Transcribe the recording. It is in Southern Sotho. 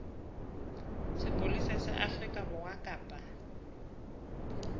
sepolesa sa afrika borwa kapa